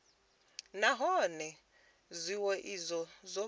nahone zwiwo izwo zwo bvelela